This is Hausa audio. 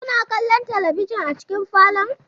Kuna kallon talabijin a cikin falon?